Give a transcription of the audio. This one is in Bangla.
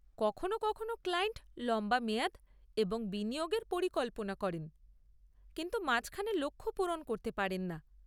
কখনো কখনো ক্লায়েন্ট লম্বা মেয়াদ এবং বিনিয়োগের পরিকল্পনা করেন কিন্তু মাঝখানে লক্ষ্য পূরণ করতে পারে্ন না।